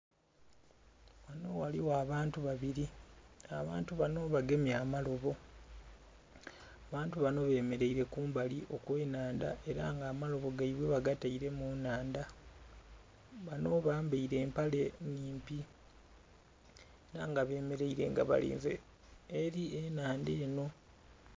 Ghano ghaligho abantu babiri abantu banho bagemye amalobo abantu banho bemereire kumbali okwe nhandha era nga amalobo ghaibwe bagataire mu nhandha banho bambaire mpale nnhimpi era nga bemereire nga balinze eri enhandha enho.